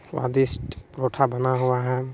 स्वादिष्ट परोठा बना हुआ हैं।